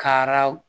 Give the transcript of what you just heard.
Kara